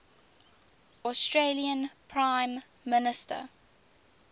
australian prime minister